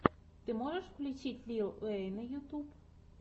ты можешь включить лил уэйна ютьюб